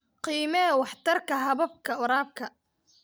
Qiimee waxtarka hababka waraabka.